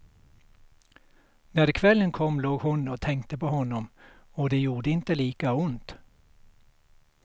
När kvällen kom låg hon och tänkte på honom och det gjorde inte lika ont.